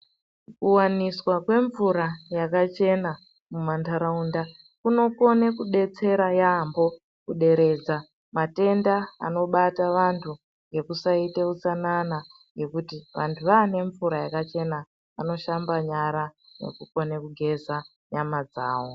Kuwaniswa kwemvura yakachena mumantaraunda, kunokone kudetsera yaampho, kuderedza matenda anobata vantu ngekusaite utsanana, ngekuti vantu vaane mvura yakachena, vanoshamba nyara, nekukone kugeza nyama dzawo.